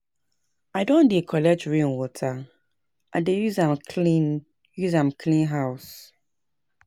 I don begin dey collect rain water, I dey use am clean use am clean house.